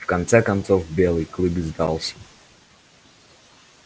в конце концов белый клык сдался